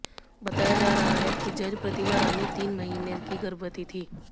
बताया जा रहा है कि जज प्रतिभा रानी तीन महीने की गर्भवती थी